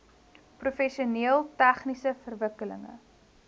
professioneel tegniese verwikkelinge